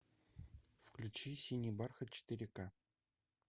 включи синий бархат четыре ка